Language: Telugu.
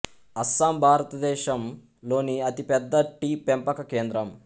అస్సాం భారతదేశం లోని అతి పెద్ద టీ పెంపక కేంద్రం